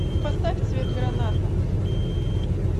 поставь цвет граната